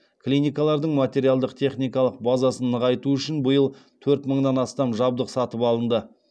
клиникалардың материалдық техникалық базасын нығайту үшін биыл төрт мыңнан астам жабдық сатып алынды